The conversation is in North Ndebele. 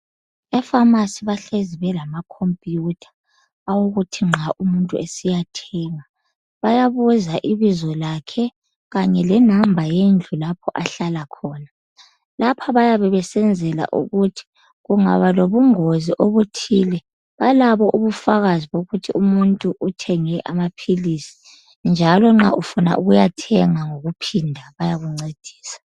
Efamasi sebelamakhumpuyutha okokuthi nxa umuntu esiya thenga, bayabuza ibizo lakhe kanye lenamba yendlu lapho ahlala khona. Lapha bayabe bayabe besenzela ukuthi kungaba lengozi ethile balabo ubufakazi bokuthi umuntu uthenge amaphilisi njalo nxa ufuna ukuyathenga ngokuphinda bayakuncedisa.